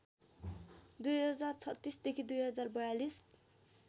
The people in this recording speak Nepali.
२०३६ देखि २०४२